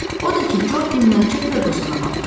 Odur ki, Co dinməzcə Ferqusuna baxdı.